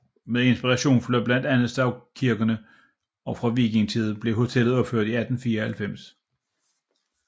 Med inspiration fra blandt andet stavkirkerne og fra vikingetiden blev hotellet opført i 1894